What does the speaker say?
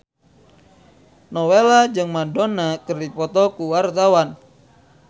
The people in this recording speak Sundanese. Nowela jeung Madonna keur dipoto ku wartawan